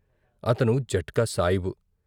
అతను జట్కా సాయిబు.